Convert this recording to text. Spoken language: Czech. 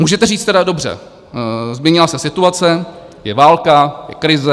Můžete říct teda, dobře, změnila se situace, je válka, je krize.